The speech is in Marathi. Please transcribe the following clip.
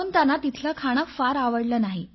म्हणून त्यांना इथले खाणे एवढं आवडलं नाही